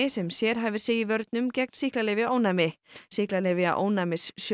sem sérhæfir sig í vörnum gegn sýklalyfjaónæmi sýklalyfjaónæmi